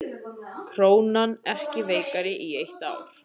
Krónan ekki veikari í eitt ár